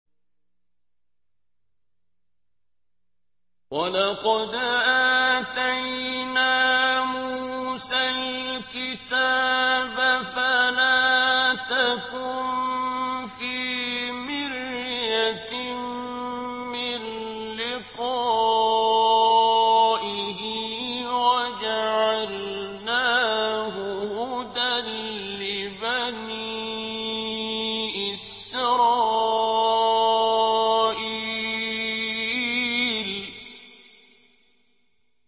وَلَقَدْ آتَيْنَا مُوسَى الْكِتَابَ فَلَا تَكُن فِي مِرْيَةٍ مِّن لِّقَائِهِ ۖ وَجَعَلْنَاهُ هُدًى لِّبَنِي إِسْرَائِيلَ